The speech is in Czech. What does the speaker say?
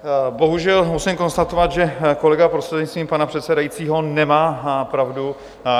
Bohužel musím konstatovat, že kolega prostřednictvím pana předsedajícího nemá pravdu.